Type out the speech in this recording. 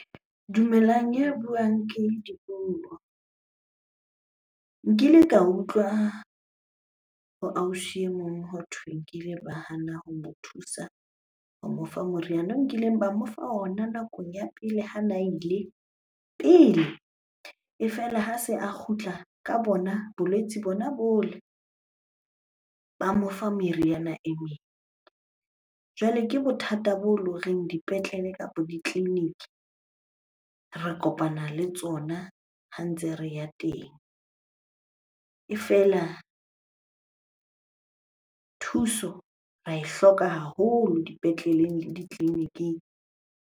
Dumelang, ya buang ke Dipuo. Nkile ka utlwa ho ausi e mong hothwe nkile ba hana ho mo thusa ho mo fa moriana o nkileng ba mo fa ona nakong ya pele hana ile pele. E fela ha se a kgutla ka bona bolwetse bona bole, ba mo fa meriana e meng. Jwale ke bothata bo le horeng dipetlele kapa ditleliniki re kopana le tsona ha ntse re ya teng. E fela thuso re ae hloka haholo dipetleleng le ditleliniking.